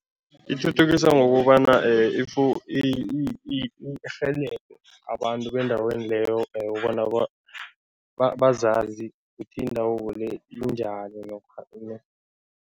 Ithuthukisa ngokobana if irhelebhe abantu bendaweni leyo bona bazazi ukuthi indawabo le injani namkha